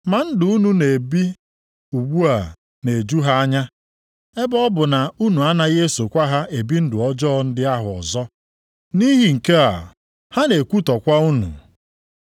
Ma ndụ unu na-ebi ugbu a na-eju ha anya ebe ọ bụ na unu anaghị esokwa ha ebi ndụ ọjọọ ndị ahụ ọzọ, nʼihi nke a ha na-ekwutọkwa unu.